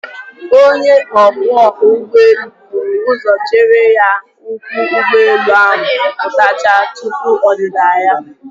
Onye ọkwọ ụgbọelu buru ụzọ chere ka ụkwụ ụgbọelu ahụ pụtachaa tupu ọdịda ya.